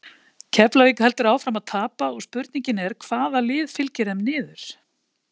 Keflavík heldur áfram að tapa og spurning er hvaða lið fylgir þeim niður?